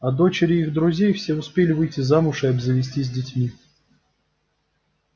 а дочери их друзей все успели выйти замуж и обзавестись детьми